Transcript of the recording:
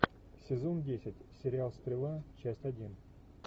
сезон десять сериал стрела часть один